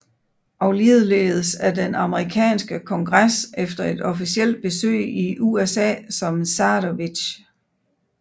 Og ligeledes af den amerikanske kongres efter et officielt besøg i USA som zarevitch